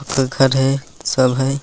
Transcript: एक घर है सब है।